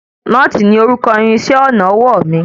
Nóòtì ní orúkọ irinṣẹ́ ọnà ọwọ́ mi.